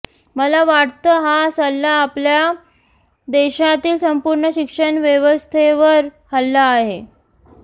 मला वाटतं हा सल्ला आपल्या देशातील संपूर्ण शिक्षण व्यवस्थेवर हल्ला आहे